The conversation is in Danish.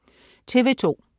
TV2: